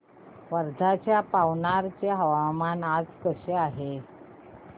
वर्ध्याच्या पवनार चे हवामान आज कसे आहे